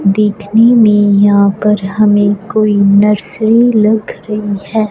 देखने में यहां पर हमें कोई नर्सरी लग रही हैं।